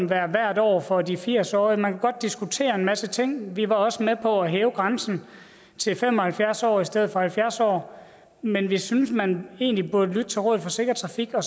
være hvert år for de firs årige man kunne godt diskutere en masse ting vi var også med på at hæve grænsen til fem og halvfjerds år i stedet for halvfjerds år men vi synes man egentlig burde lytte til rådet for sikker trafik og